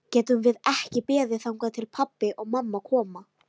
Getum við ekki beðið þangað til pabbi og mamma koma?